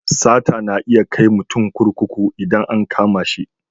Sata na iya kai mutum kurkuku idan an kama shi.